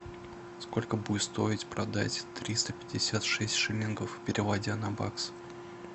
сколько будет стоить продать триста пятьдесят шесть шиллингов переводя на баксы